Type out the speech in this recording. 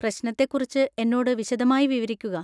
പ്രശ്നത്തെക്കുറിച്ച് എന്നോട് വിശദമായി വിവരിക്കുക.